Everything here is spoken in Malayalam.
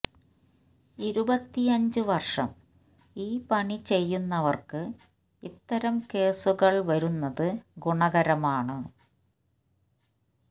ഇരുപത്തിയഞ്ച് വര്ഷം ഈ പണി ചെയ്യുന്നവര്ക്ക് ഇത്തരം കേസുകള് വരുന്നത് ഗുണകരമാണ്